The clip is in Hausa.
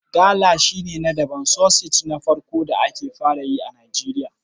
Gala shine naɗaɗɗan sosej na farko da ake fara yi a Nijeriya